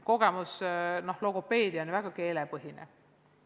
Näiteks, logopeedia on ju väga keelepõhine.